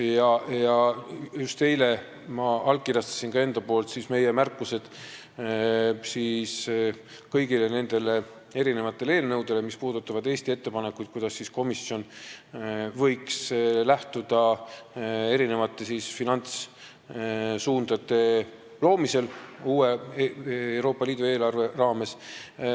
Eile ma just allkirjastasin ka meie märkused kõigi nende eelnõude kohta, mis puudutavad Eesti ettepanekuid, millest komisjon võiks lähtuda finantssuundade loomisel uue Euroopa Liidu eelarve raames.